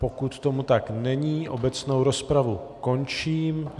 Pokud tomu tak není, obecnou rozpravu končím.